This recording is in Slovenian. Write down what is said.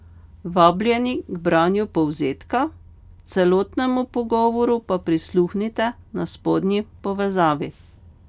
Vabljeni k branju povzetka, celotnemu pogovoru pa prisluhnite na spodnji povezavi.